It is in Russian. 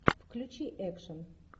включи экшн